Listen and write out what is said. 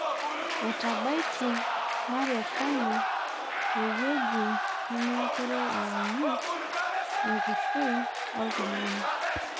Etabaitie marekeni ewueji nemekure ianyit enkishui olntung'ani